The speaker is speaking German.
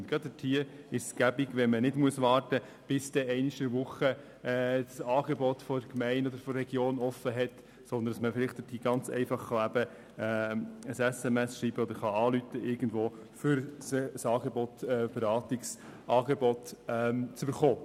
Gerade für sie ist es praktisch, wenn sie nicht warten müssen, bis dann einmal in der Woche das Angebot der Gemeinde oder der Region geöffnet ist, sondern wenn sie ganz einfach eine SMS schreiben oder irgendwo anrufen können, um ein Beratungsangebot zu erhalten.